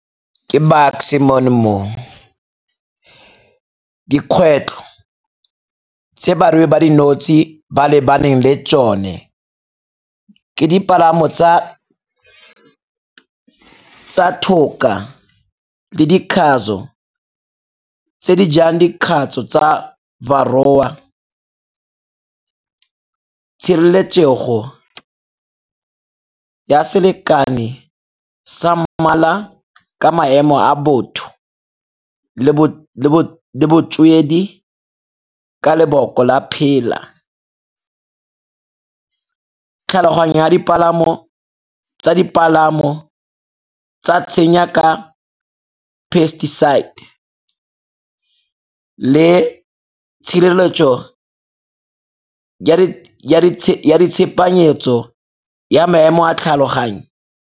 Ke Bucks-e mono mo. Dikgwetlho tse barui ba dinotshe di ba lebaneng le tsone ke dipalamo tsa tlhoka le dikgatso tse di jang dikgatso tsa , tshireletsego ya selekani sa mmala ka maemo a botho le botswedi ka leboko la phela. Tlhaloganya tsa dipalamo tsa tshenya ka Pesticide le tshireletso ya ditshepanyetso ya maemo a tlhaloganyo.